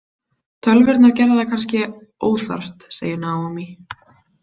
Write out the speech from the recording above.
Tölvurnar gerðu það kannski óþarft, segir Naomi.